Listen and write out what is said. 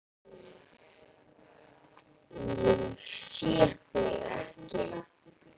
Ég sé þig ekki.